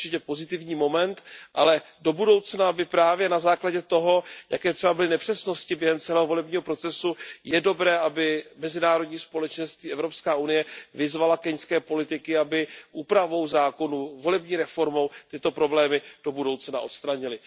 To je určitě pozitivní moment, ale do budoucna by právě na základě toho, jaké třeba byly nepřesnosti během celého volebního procesu, bylo dobré, aby mezinárodní společenství a EU vyzvaly keňské politiky, aby úpravou zákonu, volební reformou tyto problémy do budoucna odstranili.